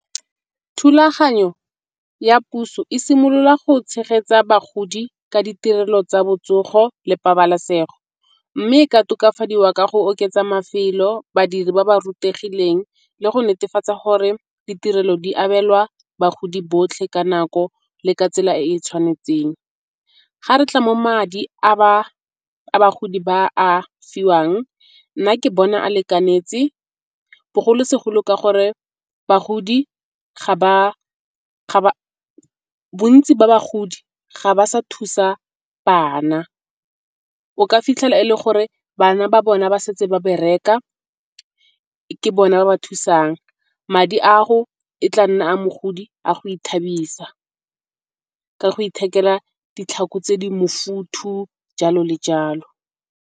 Thulaganyo ya puso e simolola go tshegetsa bagodi ka ditirelo tsa botsogo le pabalesego. Mme e ka tokafadiwa ka go oketsa mafelo, badiri ba ba rutegileng le go netefatsa gore ditirelo di abelwa bagodi botlhe ka nako le ka tsela e e tshwanetseng. Ga re tla mo madi a bagodi ba a fiwang nna ke bona a lekanetse bogolosegolo ka gore bontsi ba bagodi ga ba sa thusa bana. O ka fitlhela e le gore bana ba bona ba setse ba bereka ke bona ba ba thusang. Madi a go e tla nna a mogodi a go ithabisa ka go ithekela ditlhako tse di mofutho jalo le jalo.